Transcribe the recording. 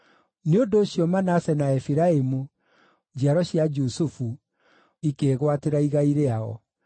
Nĩ ũndũ ũcio Manase na Efiraimu, njiaro cia Jusufu, ikĩĩgwatĩra igai rĩao.